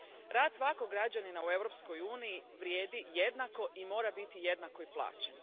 Rad svakog građanina u Europskoj uniji vrijedi jednako i mora biti jednako i plaćen.